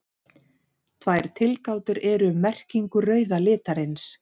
Tvær tilgátur eru um merkingu rauða litarins.